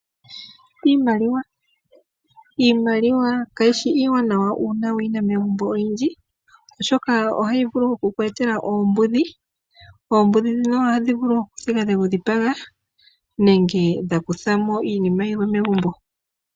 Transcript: Iimaliwa kayishi iiwanawa uuna wuyi na megumbo oyindji oshoka ohayi vulu okuku etela oombudhi, oombudhi ohadhi vulu okuthiga dha dhipaga nenge dha kutha mo iinima yilwe megumbo.